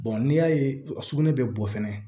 n'i y'a ye a sugunɛ bɛ bɔ fɛnɛ